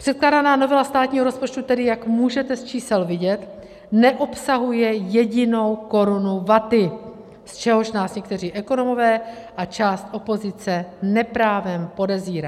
Předkládaná novela státního rozpočtu tedy, jak můžete z čísel vidět, neobsahuje jedinou korunu vaty, z čehož nás někteří ekonomové a část opozice neprávem podezírá.